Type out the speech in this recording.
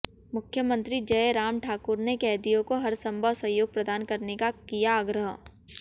मुख्यमंत्री जय राम ठाकुर ने कैदियों को हरसंभव सहयोग प्रदान करने का किया आग्रह